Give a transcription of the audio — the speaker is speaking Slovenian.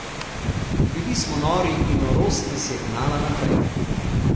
Bili smo nori in norost nas je gnala naprej.